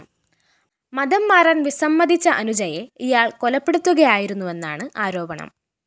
മതംമാറാന്‍ വിസമ്മതിച്ച അനുജയെ ഇയാള്‍ കൊലപ്പെടുത്തുകയായിരുന്നുവെന്നാണ് ആരോപണം